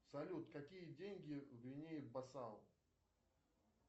салют какие деньги в гвинее бисау